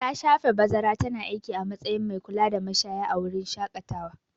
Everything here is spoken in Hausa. Ta shafe bazara tana aiki a matsayin mai kulada mashaya a wurin shaƙatawa.